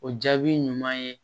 O jaabi ɲuman ye